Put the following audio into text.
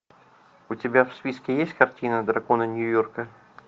у тебя в списке есть картина драконы нью йорка